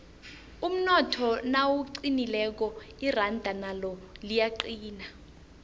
umnotho nawuqinileko iranda nalo liyaqina